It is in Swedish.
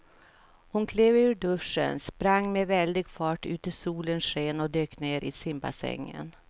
Hon klev ur duschen, sprang med väldig fart ut i solens sken och dök ner i simbassängen.